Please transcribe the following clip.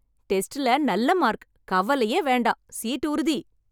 டெஸ்ட்ல நல்ல மார்க். கவலையே வேண்டாம். சீட் உறுதி!